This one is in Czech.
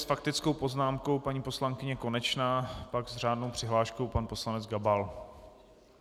S faktickou poznámkou paní poslankyně Konečná, pak s řádnou přihláškou pan poslanec Gabal.